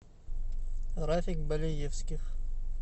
рафик балеевских